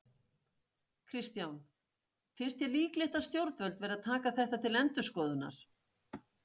Kristján: Finnst þér líklegt að stjórnvöld verði að taka þetta til endurskoðunar?